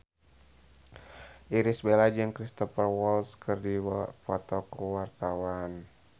Irish Bella jeung Cristhoper Waltz keur dipoto ku wartawan